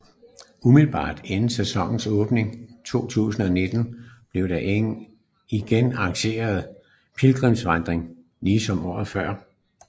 Umiddelbart inden sæsonenåbning 2019 blev der igen arrangeret pilgrimsvandring ligesom året før